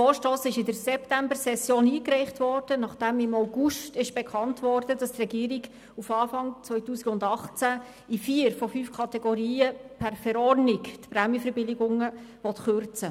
Er wurde in der Septembersession eingereicht, nachdem im August bekannt wurde, dass die Regierung auf Anfang 2018 in vier von fünf Kategorien per Verordnung die Prämienverbilligungen kürzen will.